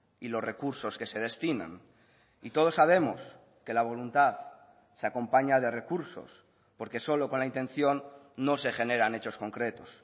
y los recursos que se destinan y todos sabemos que la voluntad se acompaña de recursos porque solo con la intención no se generan hechos concretos